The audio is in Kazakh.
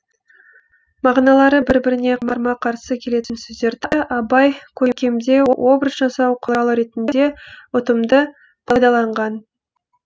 мағыналары бір біріне қарама қарсы келетін сөздерді абай керкемдеу образ жасау құралы ретінде ұтымды пайдаланған